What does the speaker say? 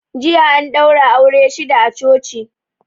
Jiya an daura aure shida a coci